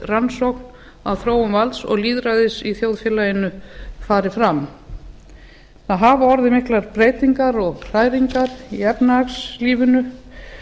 rannsókn á þróun valds og lýðræðis í þjóðfélaginu fari afla það hafa orðið miklar breytingar og hræringar í efnahagslífinu